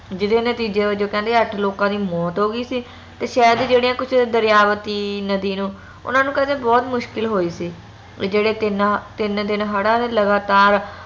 ਜਿਹੜੇ ਨਤੀਜੇ ਵਜੋਂ ਕਹਿੰਦੇ ਆਠ ਲੋਕਾਂ ਦੀ ਮੌਤ ਹੋ ਗਯੀ ਸੀ ਤੇ ਸ਼ਹਿਰ ਦੇ ਜਿਹੜੀਆਂ ਕੁਛ ਦਰਯਾਵਤੀ ਨਦੀ ਨੂੰ ਓਨਾ ਨੂੰ ਕਹਿੰਦੇ ਬਹੁਤ ਮੁਸ਼ਕਿਲ ਹੋਈ ਸੀ ਓ ਜੇਹੜੇ ਤਿੰਨ ਤਿੰਨ ਦਿਨ ਹੜ ਆਲੇ ਲਗਾਤਾਰ